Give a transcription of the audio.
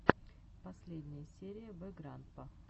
последняя серия вэграндпа